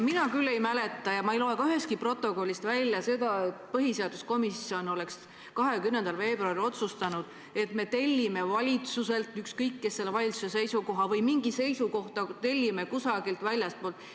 Mina küll ei mäleta ja ma ei loe seda ka ühestki protokollist välja, et põhiseaduskomisjon oleks 20. veebruaril otsustanud, et tellime valitsuselt selle seisukoha või tellime mingi seisukoha kusagilt väljastpoolt.